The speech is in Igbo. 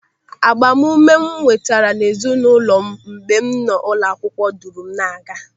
Agbamume m nwetara n'ezinụlọ m mgbe m nọ n'ụlọ akwụkwọ duru m na-aga.